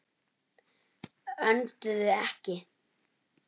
Önduðu ekki.